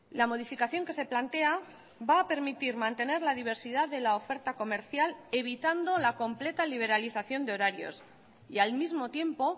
la modificación que se plantea va a permitir mantener la diversidad de la oferta comercial evitando la completa liberalización de horarios y al mismo tiempo